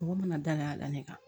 Mɔgɔ mana dayɛlɛ a la ne kan